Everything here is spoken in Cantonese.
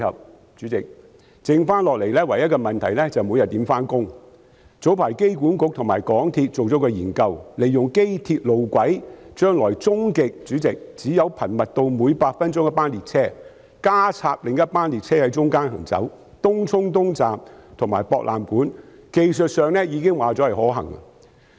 代理主席，早前香港機場管理局及港鐵公司進行了一項研究，利用機鐵路軌，將來終極可頻密至每8分鐘一班列車，再加插另一班列車在其間行走東涌東站至博覽館站，已知在技術上是可行的。